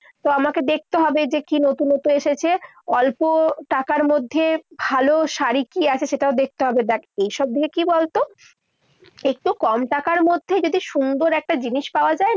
তো আমাকে দেখতে হবে যে কি নতুন নতুন এসেছে? অল্প টাকার মধ্যে ভালো শাড়ি কি আছে সেটাও দেখতে হবে। দেখ, এইসব দিকে কি বলতো, একটু কম টাকার মধ্যে যদি একটু সুন্দর জিনিস পাওয়া যায়